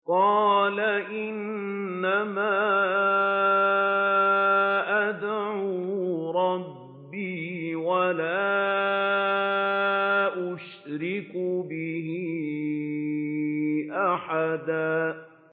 قُلْ إِنَّمَا أَدْعُو رَبِّي وَلَا أُشْرِكُ بِهِ أَحَدًا